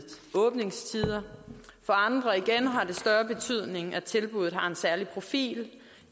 åbningstider for andre igen har det større betydning at tilbuddet har en særlig profil